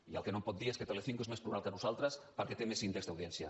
i el que no em pot dir és que telecinco és més plural que nosaltres perquè té més índex d’audiència